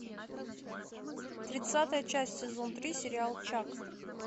тридцатая часть сезон три сериал чак